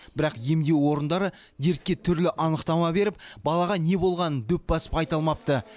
бірақ емдеу орындары дертке түрлі анықтама беріп балаға не болғанын дөп басып айта алмапты